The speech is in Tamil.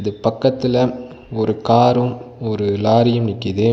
பக்கத்துல ஒரு காரும் ஒரு லாரியும் நிக்கிது.